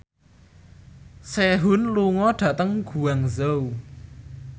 Sehun lunga dhateng Guangzhou